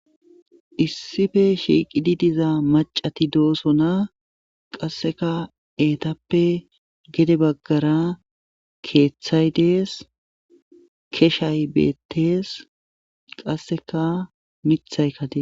issife shiiqidi diza macati doosona qasseka eetappe gede baggara keeththay dees keshay beettees qasseka mithayka dees